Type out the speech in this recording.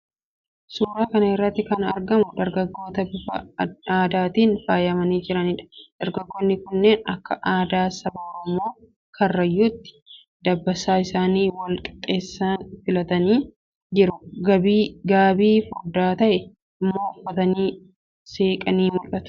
Suuraa kana irratti kan argamu dargaggoota bifa aadaatiin faayamanii jiraniidha. Dargaggoonni kunneen akka aadaa saba Oromoo Karrayyuutti dabbasaa isaanii wal qixxeessuun filatanii jiru. Gaabii furdaa ta'e immoo uffatanii seeqanii mul'atu.